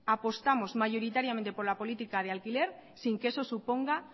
apostamos mayoritariamente por la política de alquiler sin que eso suponga